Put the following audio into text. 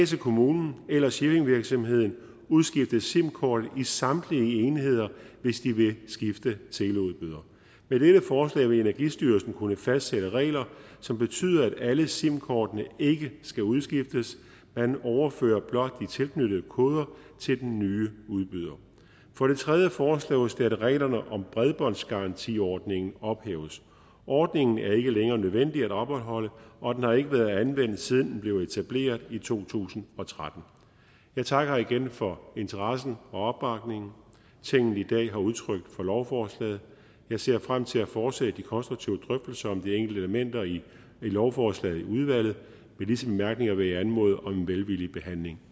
skal kommunen eller shippingvirksomheden udskifte sim kortet i samtlige enheder hvis de vil skifte teleudbyder med dette forslag vil energistyrelsen kunne fastsætte regler som betyder at alle sim kortene ikke skal udskiftes man overfører blot de tilknyttede koder til den nye udbyder for det tredje foreslås det at reglerne om bredbåndsgarantiordningen ophæves ordningen er ikke længere nødvendig at opretholde og den har ikke været anvendt siden den blev etableret i to tusind og tretten jeg takker igen for interessen og opbakningen tinget i dag har udtrykt for lovforslaget jeg ser frem til at fortsætte de konstruktive drøftelser om de enkelte elementer i lovforslaget i udvalget med disse bemærkninger vil jeg anmode om en velvillig behandling